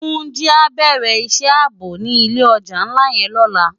Tunji á bèrè isë àbó ni ilé òjá nlá yèn lòlá